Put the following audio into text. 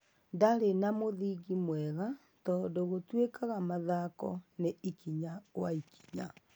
Ndarĩ na mũthingi mwega tũndũ gũtwikaga mathako ni ikinya gwa ikinya.